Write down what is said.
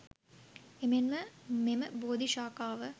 එමෙන්ම මෙම බෝධි ශාඛාව